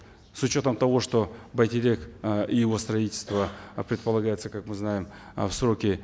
с учетом того что байтерек э и его строительство э предполагается как мы знаем э в сроки